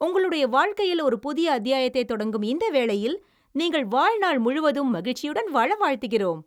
உங்களுடைய வாழ்க்கையில் ஒரு புதிய அத்தியாயத்தைத் தொடங்கும் இந்த வேளையில், நீங்கள் வாழ்நாள் முழுவதும் மகிழச்சியுடன் வாழ வாழ்த்துகிறோம்.